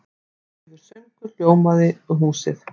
Daufur söngur hljómandi um húsið.